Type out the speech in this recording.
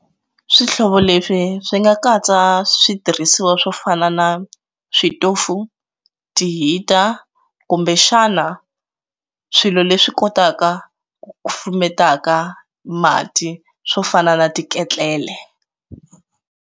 Swihlovo leswi swi nga katsa switirhisiwa swo fana na switofu ti heater kumbe xana swilo leswi kotaka ku pfumelaka mati swo fana na ti ketlele.